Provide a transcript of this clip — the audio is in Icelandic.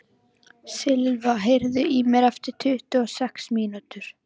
Silva, heyrðu í mér eftir tuttugu og sex mínútur.